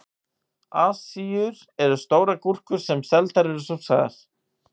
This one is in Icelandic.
Asíur eru stórar gúrkur sem seldar eru súrsaðar.